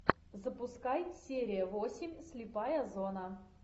запускай серия восемь слепая зона